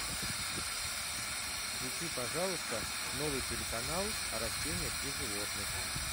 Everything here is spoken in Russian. включи пожалуйста новый телеканал о растениях и животных